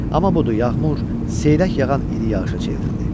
Amma budur yağmur seyrək yağan iri yağışa çevrildi.